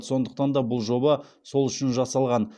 сондықтан да бұл жоба сол үшін жасалған